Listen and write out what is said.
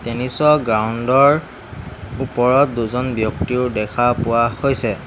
Tennis ৰ ground ৰ ওপৰত দুজন ব্যক্তিও দেখা পোৱা হৈছে।